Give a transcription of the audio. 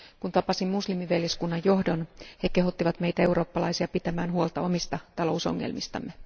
Kun tapasin muslimiveljeskunnan johdon, he kehottivat meitä eurooppalaisia pitämään huolta omista talousongelmistamme.